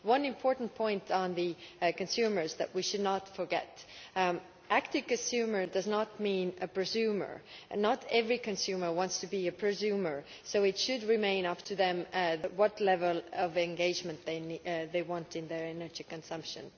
One important point on consumers that we should not forget is that active consumer' does not mean a presumer', and not every consumer wants to be a presumer, so it should remain up to them what level of engagement they want in their energy consumption.